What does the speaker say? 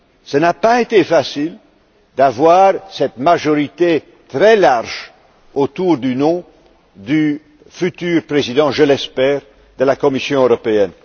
Il n'a pas été facile de réunir cette majorité très large autour du nom du futur président je l'espère de la Commission européenne.